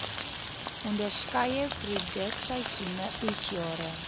onderskeie produksieseisoene oesjare